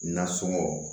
Nasɔngɔ